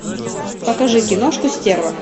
покажи киношку стерва